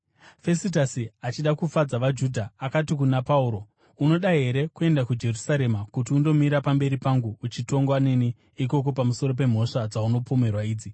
Fesitasi achida kufadza vaJudha, akati kuna Pauro, “Unoda here kuenda kuJerusarema kuti undomira pamberi pangu uchitongwa neni ikoko pamusoro pemhosva dzaunopomerwa idzi?”